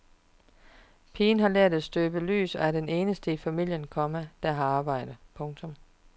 Pigen har lært at støbe lys og er den eneste i familien, komma der har arbejde. punktum